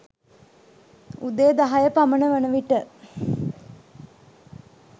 උදේ දහය පමණ වනවිට